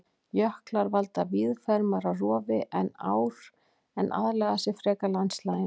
Jöklar valda víðfeðmara rofi en ár en aðlaga sig frekar landslaginu.